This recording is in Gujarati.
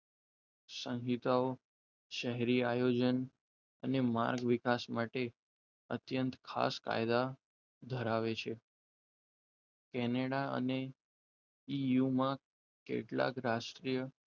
સંહિતાઓ શહેરી આયોજન અને માર્ગ વિકાસ માટે અત્યંત ખાસ કાયદા ધરાવે છે કેનેડા અને ઈયુમા કેટલાક રાષ્ટ્રીય,